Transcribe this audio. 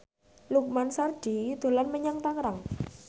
Lukman Sardi dolan menyang Tangerang